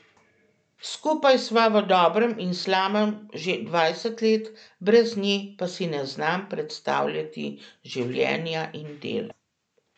Skupaj sva v dobrem in slabem že dvajset let, brez nje pa si ne znam predstavljati življenja in dela.